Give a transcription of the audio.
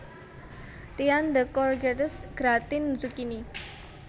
Tian de Courgettes gratin zukini